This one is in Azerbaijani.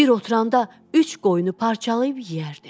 Bir oturanda üç qoyunu parçalayıb yeyərdi.